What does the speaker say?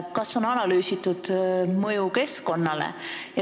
Kas on analüüsitud mõju keskkonnale?